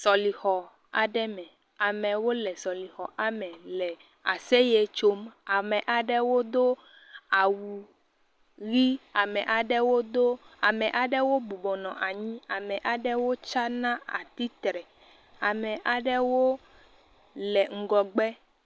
Sɔlixɔ aɖe me, amewo le sɔlixɔ ame le aseye tsom, ame aɖewo do awu ʋɛ̃, ame aɖewo bɔbɔ nɔ anyi, ame aɖewo tsana atsitre, ame aɖewo le ŋgɔgbe.